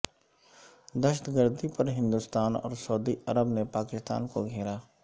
دہشت گردی پر ہندوستان اور سعودی عرب نے پاکستان کو گھیرا